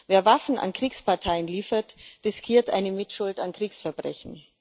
Wer Waffen an Kriegsparteien liefert, riskiert eine Mitschuld an Kriegsverbrechen.